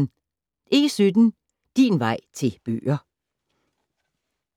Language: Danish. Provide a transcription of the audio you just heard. E17 Din vej til bøger